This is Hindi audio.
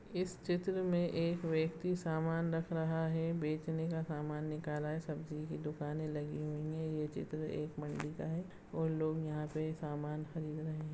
इस चित्र में एक व्यक्ति सामान रख रहा है बेचने का सामान निकाला है सब्जी की दुकाने लगी हुई है ये चित्र एक मंडी का है और लोग यहाँ से सम्मान खरीद रहे है।